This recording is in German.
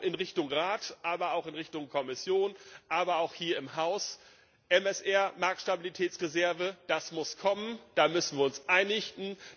Darum in Richtung Rat, auch in Richtung Kommission, aber auch hier im Haus MSR, die Marktstabilitätsreserve, das muss kommen, da müssen wir uns einigen.